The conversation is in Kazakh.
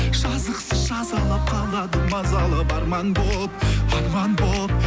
жазықсыз жазалап қалады мазалап арман болып арман болып